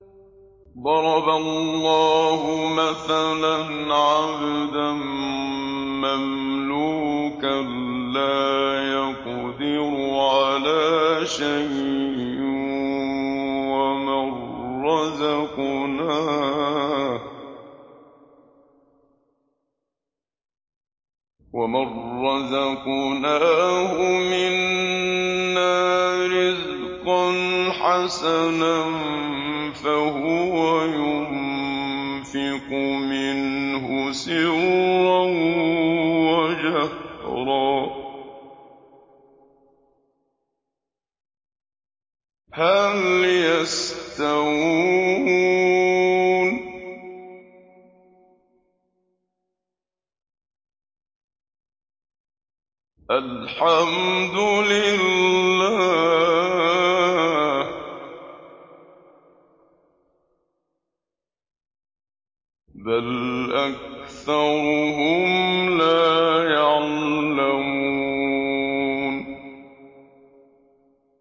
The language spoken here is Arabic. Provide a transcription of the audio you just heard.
۞ ضَرَبَ اللَّهُ مَثَلًا عَبْدًا مَّمْلُوكًا لَّا يَقْدِرُ عَلَىٰ شَيْءٍ وَمَن رَّزَقْنَاهُ مِنَّا رِزْقًا حَسَنًا فَهُوَ يُنفِقُ مِنْهُ سِرًّا وَجَهْرًا ۖ هَلْ يَسْتَوُونَ ۚ الْحَمْدُ لِلَّهِ ۚ بَلْ أَكْثَرُهُمْ لَا يَعْلَمُونَ